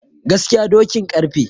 Gaskiya dokin ƙarfe